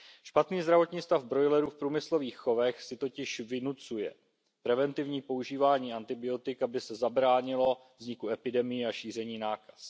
Špatný zdravotní stav brojlerů v průmyslových chovech si totiž vynucuje preventivní používání antibiotik, aby se zabránilo vzniku epidemií a šíření nákaz.